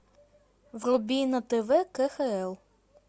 вруби на тв кхл